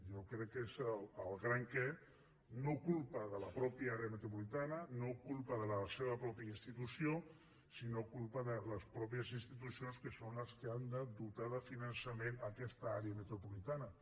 jo crec que és el gran què no culpa de la mateixa àrea metropolitana no culpa de la seva mateixa institució sinó culpa de les mateixes institucions que són les que han de dotar de finançament aquesta àrea metropolitana